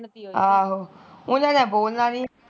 ਉਹਨਾਂ ਨੇ ਬੋਲਣਾ ਨੀ